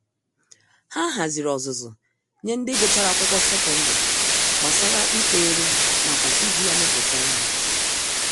Ha haziri ọzụzụ nye ndị Gụchara Akwụkwọ secondary, gbasara ịkpa ero nakwa iji ya emepụta ìhè.